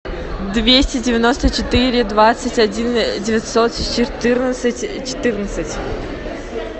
двести девяносто четыре двадцать один девятьсот четырнадцать четырнадцать